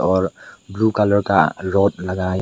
और blue colour का रोट लगा है।